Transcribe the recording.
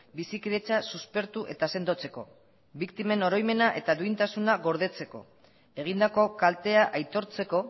bizikidetza suspertu eta sendotzeko biktimen oroimena eta duintasuna gordetzeko egindako kaltea aitortzeko